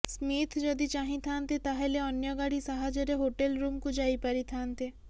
Smith ଯଦି ଚାହିଁଥାନ୍ତେ ତାହେଲେ ଅନ୍ୟ ଗାଡ଼ି ସାହାଯ୍ୟରେ ହୋଟେଲ ରୁମକୁ ଯାଇପାରିଥାନ୍ତେ